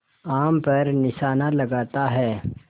आम पर निशाना लगाता है